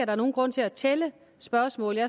er nogen grund til at tælle spørgsmålene